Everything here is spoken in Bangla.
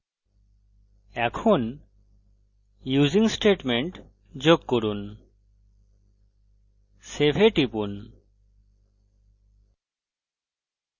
এখন using statement যোগ করুন save এ টিপুন